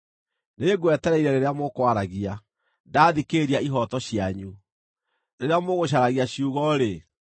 Nĩngwetereire rĩrĩa mũkwaragia, ndathikĩrĩria ihooto cianyu; rĩrĩa mũgũcaragia ciugo-rĩ,